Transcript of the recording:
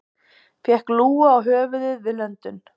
Fékk lúgu á höfuðið við löndun